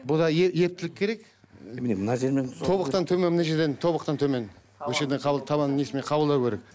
бұда ептілік керек ы міне мына жермен тобықтан төмен мына жерден тобықтан төмен осы жерден табан несімен қабылдау керек